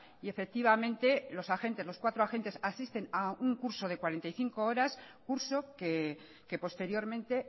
y los cuatro agentes asisten a un curso de cuarenta y cinco horas curso que posteriormente